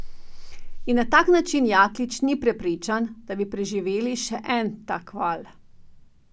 In na tak način Jaklič ni prepričan, da bi preživeli še en tak val.